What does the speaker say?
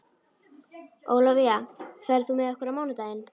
Ólafía, ferð þú með okkur á mánudaginn?